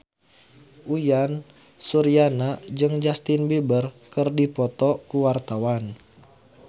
Uyan Suryana jeung Justin Beiber keur dipoto ku wartawan